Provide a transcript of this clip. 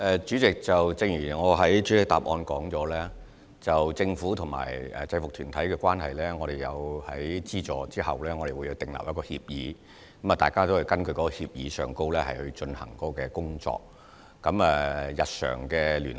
主席，正如我的主體答覆所說到政府和制服團體的關係，就是我們作出資助時，會與他們訂立協議，大家會根據這協議來進行工作，而我們會繼續日常的聯繫。